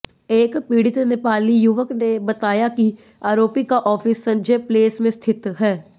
एक पीड़ित नेपाली युवक ने बताया कि आरोपी का ऑफिस संजय प्लेस में स्थित है